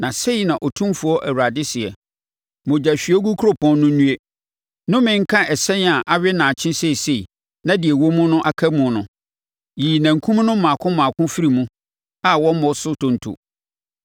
“ ‘Na sei na Otumfoɔ Awurade seɛ: “ ‘Mogyahwiegu kuropɔn no nnue, nnome nka ɛsɛn a awe nnaakye seesei, na deɛ ɛwɔ mu aka mu no! Yiyi nankum no mmaako mmaako firi mu a wommɔ so ntonto.